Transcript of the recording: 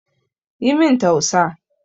Yi min tausa